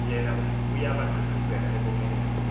yena uyabathuthazela ebomeleza